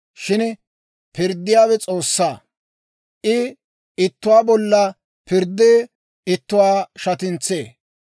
Shin pirddiyaawe S'oossaa; I ittuwaa bolla pirddee; ittuwaa shatintsee.